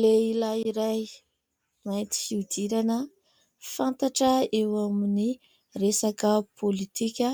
Lehilahy iray mainty fihodirana fantatra eo amin'ny resaka pôlitika.